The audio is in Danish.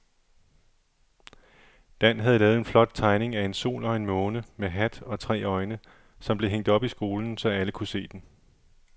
Dan havde lavet en flot tegning af en sol og en måne med hat og tre øjne, som blev hængt op i skolen, så alle kunne se den.